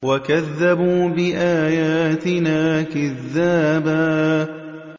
وَكَذَّبُوا بِآيَاتِنَا كِذَّابًا